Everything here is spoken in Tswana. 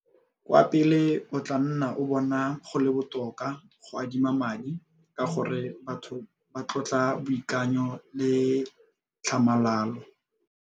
Kwa pele o tlaa nna o bona go le botoka go adima madi ka gore batho ba tlotla boikanyo le tlhamalalo.